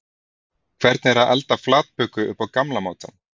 Hvernig er að elda flatböku upp á gamla mátann?